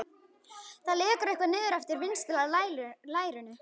Það lekur eitthvað niður eftir vinstra lærinu.